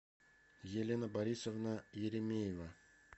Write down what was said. елена борисовна еремеева